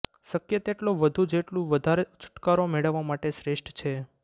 શક્ય તેટલો વધુ જેટલું વધારે છૂટકારો મેળવવા માટે શ્રેષ્ઠ છે